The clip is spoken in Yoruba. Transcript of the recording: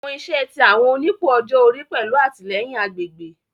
Awọn iṣẹ ti awọn onipò ọjọ ori pẹlu atilẹyin agbegbe